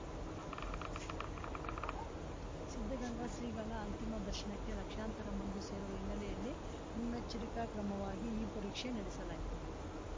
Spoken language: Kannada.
ಸಿದ್ಧಗಂಗಾ ಶ್ರೀಗಳ ಅಂತಿಮ ದರ್ಶನಕ್ಕೆ ಲಕ್ಷಾಂತರ ಮಂದಿ ಸೇರುವ ಹಿನ್ನೆಲೆಯಲ್ಲಿ ಮುನ್ನೆಚ್ಚರಿಕಾ ಕ್ರಮವಾಗಿ ಈ ಪರೀಕ್ಷೆ ನಡೆಸಲಾಯಿತು